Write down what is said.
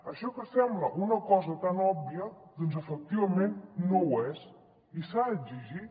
això que sembla una cosa tan òbvia doncs efectivament no ho és i s’ha d’exigir